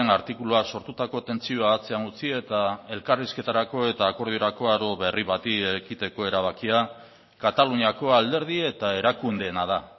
artikuluak sortutako tentsioa atzean utzi eta elkarrizketarako eta akordiorako aro berri bati ekiteko erabakia kataluniako alderdi eta erakundeena da